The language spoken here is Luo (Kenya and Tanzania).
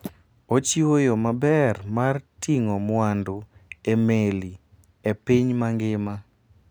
Ochiwo yo maber mar ting'o mwandu e meli e piny mangima.